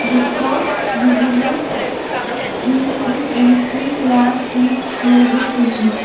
the couch visible is in A_C class with labelled windows.